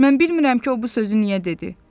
Mən bilmirəm ki, o bu sözü niyə dedi.